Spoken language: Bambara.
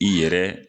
I yɛrɛ